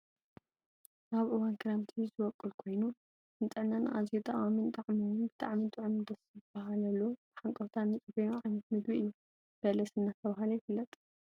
ኣብ እዋን ክረምቲ ዝቦቅል ኮይኑ ንጥዕና ኣዝዩ ጠቃምን ጣዕሙ እውን ብጣዕሚ ጥዑምን ደሰ ብሃለሉ ብሃንቀውታ እንፅበዮ ዓይነት ምግቢ እዩ ።በለስ እናተባህለ ይፍለጥ።